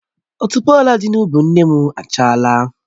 Otuboala dị na ubi nne m achala